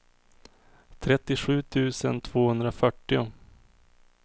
trettiosju tusen tvåhundrafyrtio